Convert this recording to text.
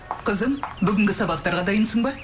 қызым бүгінгі сабақтарға дайынсың ба